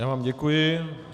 Já vám děkuji.